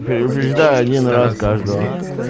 переубеждаю один раз каждого